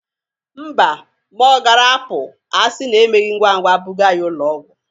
Mba, ma ọ gara apụ asịna emeghi ngwa ngwa bụga ya ụlọ ọgwọ.